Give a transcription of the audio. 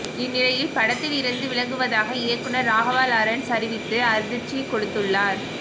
இந்நிலையில் படத்தில் இருந்து விலகுவதாக இயக்குநர் ராகவா லாரன்ஸ் அறிவித்து அதிர்ச்சி கொடுத்துள்ளார்